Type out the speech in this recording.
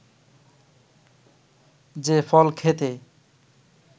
যে ফল খেতে